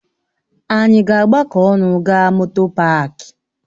Ànyị ga-agbakọ ọnụ gaa moto páák?